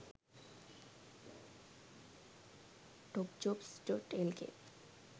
topjobs.lk